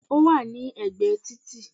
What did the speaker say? Ó wà ní ẹ̀gbẹ́ ẹ títì